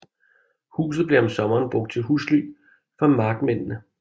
Huset blev om sommeren brugt til husly for markmændene